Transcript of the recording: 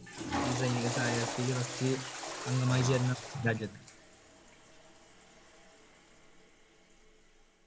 ഈ സൈനിക സഹായ വ്യവസ്ഥയില് first അംഗമായി ചേർന്ന രാജ്യം